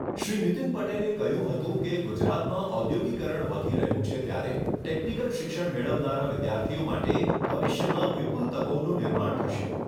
શ્રી નીતિન પટેલે કહ્યું હતું કે ગુજરાતમાં ઔદ્યોગિકરણ વધી રહ્યું છે ત્યારે ટેકનિકલ શિક્ષણ મેળવનારા વિદ્યાર્થીઓ માટે ભવિષ્યમાં વિપુલ તકોનું નિર્માણ થશે.